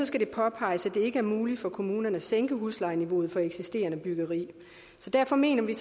skal det påpeges at det ikke er muligt for kommunerne at sænke huslejeniveauet for eksisterende byggeri så derfor mener vi